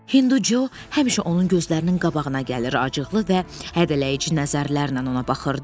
Hinduçu həmişə onun gözlərinin qabağına gəlir, acıqlı və hədələyici nəzərlərlə ona baxırdı.